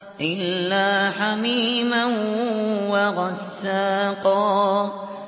إِلَّا حَمِيمًا وَغَسَّاقًا